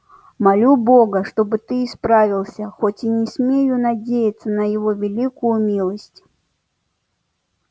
молю бога чтоб ты исправился хоть и не смею надеяться на его великую милость